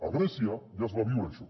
a grècia ja es va viure això